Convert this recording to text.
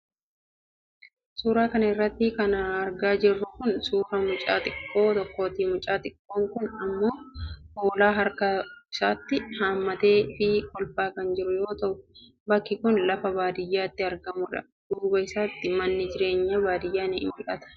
Suura kana irratti kan argaa jirru kun ,suura mucaa xiqqoo tokkooti. Mucaan xiqqoo kun ilmoo hoolaa harka isaatiin haammatee fi kolfaa kan jiru yoo ta'u, bakki kun lafa baadiyaatti argamuudha. Duuba isaatti manni jireenya baadiyaa ni mul'ata